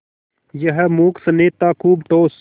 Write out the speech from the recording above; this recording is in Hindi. यह मूक स्नेह था खूब ठोस